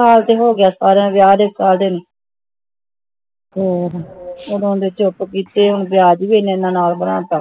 ਸਾਲ ਤਾ ਹੋ ਗਿਆ ਉਦੋਂ ਦੇ ਚੁੱਕ ਲਿੱਤੇ ਆ ਹੁਣ ਵਿਆਜ ਭੀ ਇਹਨਾਂ ਇਹਨਾਂ ਨਾਲ ਬਣਾ ਤਾ